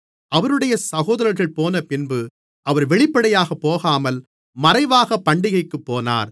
அவருடைய சகோதரர்கள் போனபின்பு அவர் வெளிப்படையாகப் போகாமல் மறைவாக பண்டிகைக்குப் போனார்